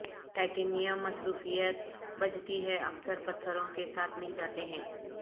titanium مصروفیت بجتی ہے اکثر پتھروں کے ساتھ مل جاتے ہیں